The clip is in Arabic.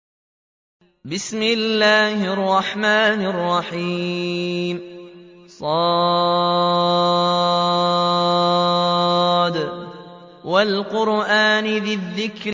ص ۚ وَالْقُرْآنِ ذِي الذِّكْرِ